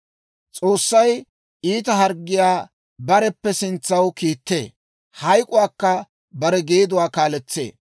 S'oossay iita harggiyaa bareppe sintsaw kiittee; hayk'k'uwaakka bare geeduwaa kaaletsee.